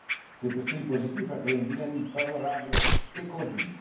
Cet esprit positif a créé une dynamique favorable et continue.